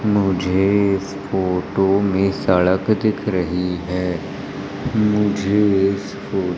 मुझे इस फोटो में सड़क दिख रही है मुझे इस फो--